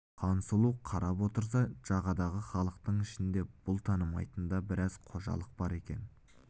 хансұлу қарап отырса жағадағы халықтың ішінде бұл танымайтын да біраз қожалық бар екен